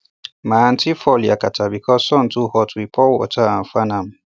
my aunty fall yakata because sun too hot we pour water and fan am